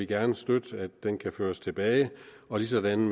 gerne støtte at den kan føres tilbage ligesådan